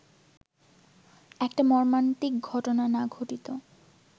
একটা মর্মান্তিক ঘটনা না ঘটিত